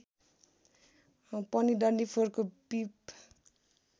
पनि डन्डीफोरको पिप